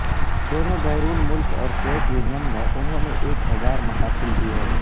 دونوں بیرون ملک اور سوویت یونین میں انہوں نے ایک ہزار محافل دی ہے